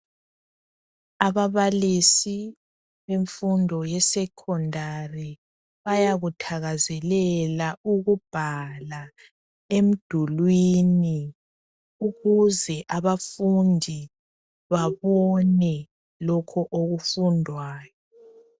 Ababalisi bemfundo yesekhondari bayakuthakezelela ukubhala emdulwini ukuze abafundi babone lokho okufundwayo.